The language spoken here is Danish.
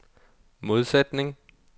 modsætning